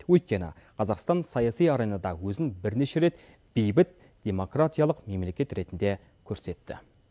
өйткені қазақстан саяси аренада өзін бірнеше рет бейбіт демократиялық мемлекет ретінде көрсетті